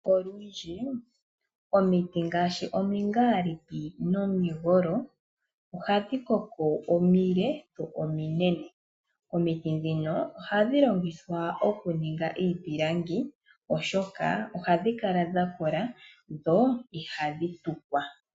Olundji omiti ngaashi omingaliki nomigolo ohadhi koko omile dho ominene, omiti ndhino ohadhi longithwa okuninga iipilangi oshoka ohadhi kala dha kola dho ihadhi tukwa.